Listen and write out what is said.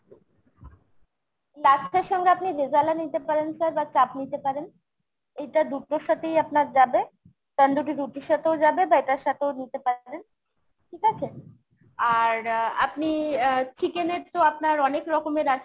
লাচ্ছার সাথে আপনি রেজালা নিতে পারেন sir বা চাঁপ নিতে পারেন। এইটা দুটোর সাথেই আপনার যাবে। তান্দুরি রুটির সাথেও যাবে বা এটার সাথেও নিতে পারবেন ঠিক আছে ? আর আ আপনি আহ chicken এর তো আপনার অনেক রকমের আছে